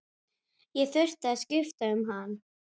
Ég þurfti að skipta um hann.